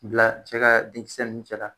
Bila cɛ ka denkisɛ nunnu cɛla.